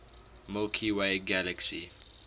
milky way galaxy